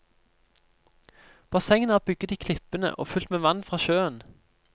Bassengene er bygget i klippene og fylt med vann fra sjøen.